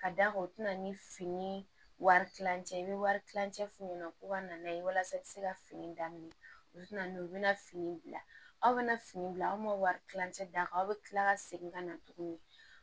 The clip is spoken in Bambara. Ka d'a kan u tɛna ni fini wari tilancɛ ye i bɛ wari kilancɛ f'u ɲɛna ko ka na n'a ye walasa ka se ka fini daminɛ u tɛna n'u bɛna fini bila aw bɛna fini bila aw ma wari kilancɛ d'a kan aw bɛ tila ka segin ka na tuguni